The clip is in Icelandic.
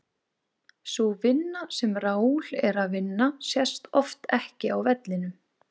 Sú vinna sem Raul er að vinna sést oft ekki á vellinum.